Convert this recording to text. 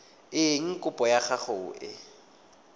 eng kopo ya gago e